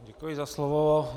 Děkuji za slovo.